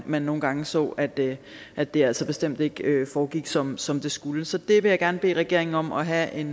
man nogle gange så at det at det altså bestemt ikke foregik som som det skulle så det vil jeg gerne bede regeringen om at have et